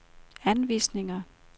anvisninger